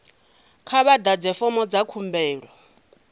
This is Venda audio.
kha vha ḓadze fomo dza khumbelo